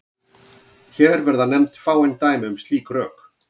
Hér verða nefnd fáein dæmi um slík rök.